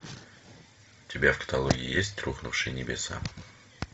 у тебя в каталоге есть рухнувшие небеса